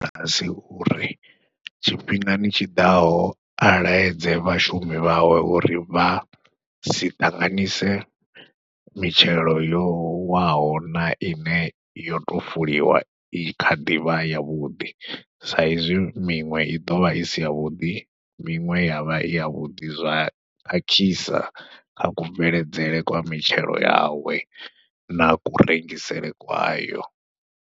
uri tshifhingani tshiḓaho a laedze vhashumi vhawe uri vha si ṱanganyise mitshelo yo waho na ine yo tou fuliwa i kha ḓi vha ya vhuḓi, sa izwi miṅwe i ḓovha i si ya vhuḓi miṅwe ya vha i ya vhuḓi, zwa khakhisa kha kubveledzele kwa mitshelo yawe na kurengisele kwayo.